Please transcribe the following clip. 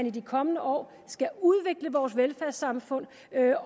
i de kommende år skal udvikle vores velfærdssamfund